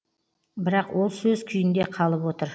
бірақ ол сөз күйінде қалып отыр